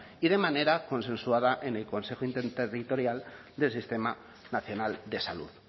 y de manera consensuada en el consejo interterritorial del sistema nacional de salud